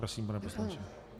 Prosím, pane poslanče.